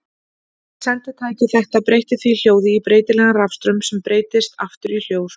Senditæki þetta breytti því hljóði í breytilegan rafstraum sem breyttist aftur í hljóð.